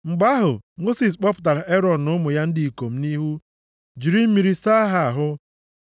Mgbe ahụ, Mosis kpọpụtara Erọn na ụmụ ya ndị ikom nʼihu, jiri mmiri saa ha ahụ.